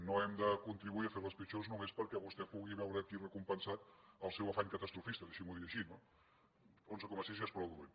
no hem de contribuir a fer les pitjors només perquè vostè pugui veure aquí recompensat el seu afany catastrofista deixi m’ho dir així no onze coma sis ja és prou dolent